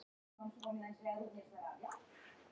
Hann var að synda hratt og hann fór meira að segja framúr mér.